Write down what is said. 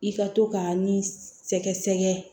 I ka to ka nin sɛgɛ sɛgɛ